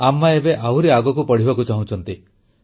ଆମ୍ମା ଏବେ ଆହୁରି ଆଗକୁ ପଢ଼ିବାକୁ ଚାହୁଁଛନ୍ତି